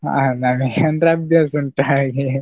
ಆ ನನಿಗೆ ಅಂದ್ರೆ ಅಭ್ಯಾಸ ಉಂಟು ಹಾಗೆ.